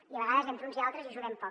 i a vegades entre uns i altres hi ajudem poc